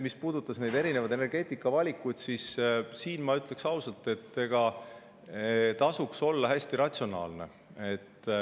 Mis puudutab erinevaid energeetikavalikuid, siis ma ütlen ausalt, et tasub olla hästi ratsionaalne.